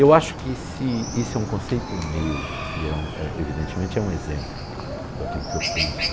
Eu acho que se esse é um conceito meu e evidentemente é um exemplo daquilo que eu penso.